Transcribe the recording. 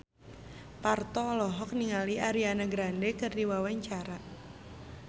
Parto olohok ningali Ariana Grande keur diwawancara